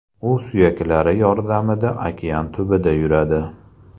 U suyaklari yordamida okean tubida yuradi.